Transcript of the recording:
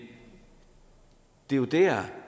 det er jo der